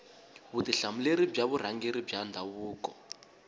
vutihlamuleri bya vurhangeri bya ndhavuko